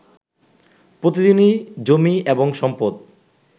প্রতিদিনই জমি এবং সম্পদ